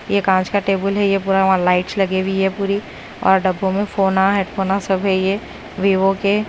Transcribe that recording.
ये कांच का टेबुल है ये पूरा वहां लाईट्स लगी हुई है पूरी और डब्बों में फोना हेड फोना सब है ये विवो के--